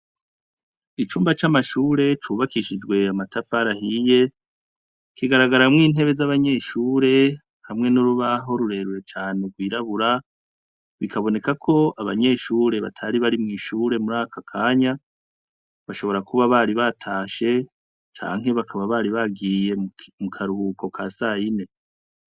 Icumba c'amashure cubakishijwe amatafarahiye kigaragaramwo intebe z'abanyeshure hamwe n'urubaho rurerure cane urwirabura bikaboneka ko abanyeshure batari bari mw'ishure muri aka kanya bashobora kuba bari batashe canke bakaba bari bagiyemwo mu karuhuko ka sayine.